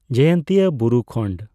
ᱡᱚᱭᱚᱱᱛᱤᱭᱟ ᱵᱩᱨᱩ ᱠᱷᱚᱸᱰᱺ